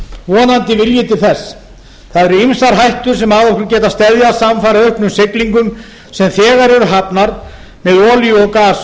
vonandi vilji til þess það eru ýmsar hættur sem að okkur geta steðjað samfara auknum siglingum sem þegar eru hafnar með olíu og gas úr